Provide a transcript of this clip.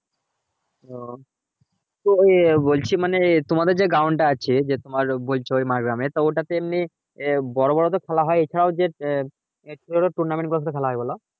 ও বলছি মানে তোমাদের যে ground টা আছে যে তোমার বলছো মাড়গ্রাম এর তো ওটাতে মানে এমনি বড়ো বড়ো তো খেলা হয় এইসব একটা করে tournament করে খেলা হয় বলো?